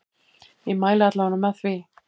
Ég mæli alla vega með því.